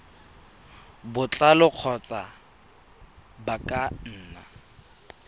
botlalo kgotsa ba ka nna